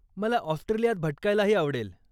मला ऑस्ट्रेलियात भटकायलाही आवडेल.